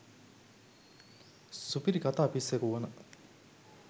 සුපිරි කථා පිස්සෙකු වන